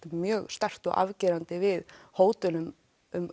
mjög sterkt og afgerandi við hótunum um